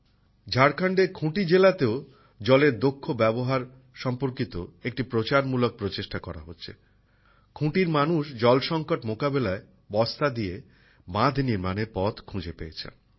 ঝাড়খণ্ডের খুঁটি জেলাতেও জলের দক্ষ ব্যবহার সম্পর্কিত একটি প্রচারমূলক প্রচেষ্টা করা হচ্ছে। খুঁটির মানুষ জল সংকট মোকাবিলায় বস্তা দিয়ে বাঁধ নির্মাণের পথ খুঁজে পেয়েছেন